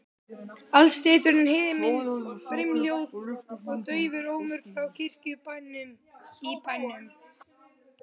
Alstirndur himinn, brimhljóð og daufur ómur frá kirkjuklukkunum í bænum.